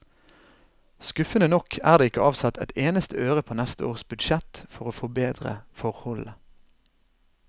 Skuffende nok er det ikke avsatt ett eneste øre på neste års budsjett for å forbedre forholdene.